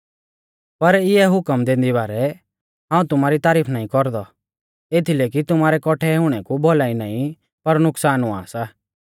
पर इंऐ हुकम दैंदी बारै हाऊं तुमारी तारीफ नाईं कौरदौ एथीलै कि तुमारै कौठै हुणै कु भौलाई नाईं पर नुकसान हुआ सा